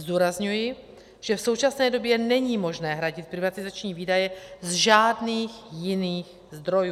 Zdůrazňuji, že v současné době není možné hradit privatizační výdaje z žádných jiných zdrojů.